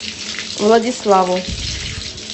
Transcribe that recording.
владиславу